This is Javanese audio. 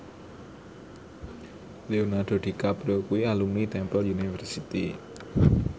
Leonardo DiCaprio kuwi alumni Temple University